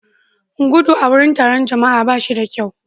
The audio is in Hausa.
gudu a wurin taron jama'a ba shi da kyau